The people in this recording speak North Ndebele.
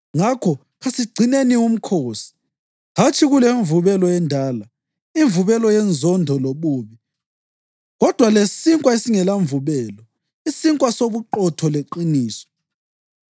Ngakho, kasigcineni uMkhosi, hatshi kulemvubelo endala, imvubelo yenzondo lobubi, kodwa lesinkwa esingelamvubelo, isinkwa sobuqotho leqiniso.